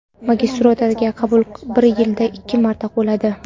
Magistraturaga qabul bir yilda ikki marta bo‘ladi.